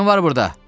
Kim var burda?